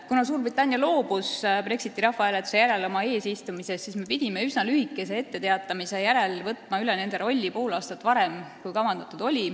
Kuna Suurbritannia loobus Brexiti rahvahääletuse järel oma eesistumisest, siis me pidime üsna lühikese etteteatamise järel võtma üle nende rolli pool aastat varem, kui kavandatud oli.